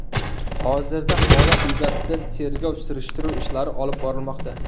Hozirda holat yuzasidan tergov-surishtiruv ishlari olib borilmoqda.